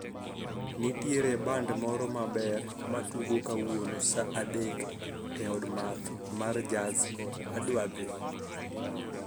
Nitiere band moro maber matugo kawuno saa adek e od math mar jaz, adwa dhi